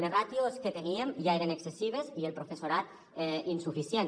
les ràtios que teníem ja eren excessives i el professorat insuficient